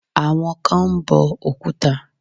Àwọn kan ń bọ Òkúta.